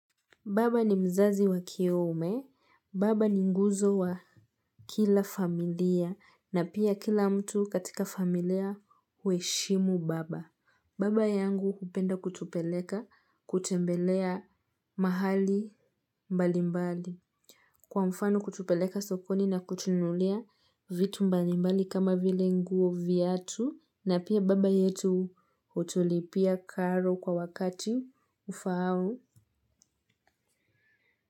Baba ni mzazi wa kiume, baba ni nguzo wa kila familia, na pia kila mtu katika familia huheshimu baba. Baba yangu hupenda kutupeleka kutembelea mahali mbalimbali. Kwa mfano kutupeleka sokoni na kutununulia vitu mbali mbali kama vile nguo viatu, na pia baba yetu hutulipia karo kwa wakati ufaao.